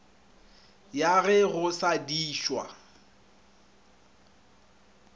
ya ge go sa dišwa